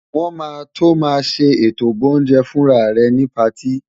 Wọn máa tó màá ṣe ètò boúnjẹ-fúnra rẹ ni patí.